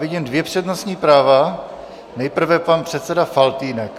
Vidím dvě přednostní práva, nejprve pan předseda Faltýnek.